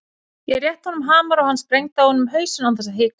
Ég rétti honum hamar og hann sprengdi á honum hausinn án þess að hika.